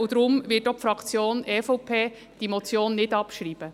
Deshalb wird die Fraktion EVP diese Motion auch nicht abschreiben.